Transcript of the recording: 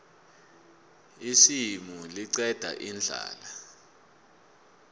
isimu liqeda indlala